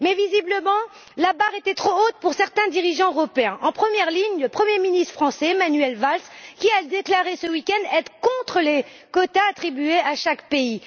Mais, visiblement, la barre était trop haute pour certains dirigeants européens, au premier rang desquels, le Premier ministre français, Manuel Valls, qui a déclaré ce week end être contre les quotas attribués à chaque pays.